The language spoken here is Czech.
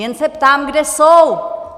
Jen se ptám, kde jsou?